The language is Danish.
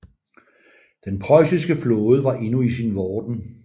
Den preussiske flåde var endnu i sin vorden